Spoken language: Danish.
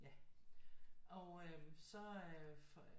Ja og så øh for